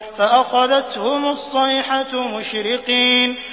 فَأَخَذَتْهُمُ الصَّيْحَةُ مُشْرِقِينَ